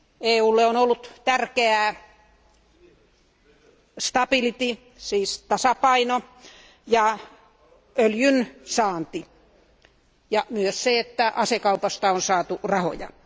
EUlle on ollut tärkeää siis tasapaino ja öljyn saanti ja myös se, että asekaupasta on saatu rahaa.